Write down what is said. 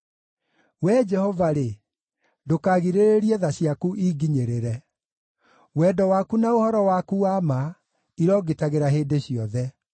Wee Jehova-rĩ, ndũkagirĩrĩrie tha ciaku inginyĩrĩre; wendo waku na ũhoro waku wa ma irongitagĩra hĩndĩ ciothe.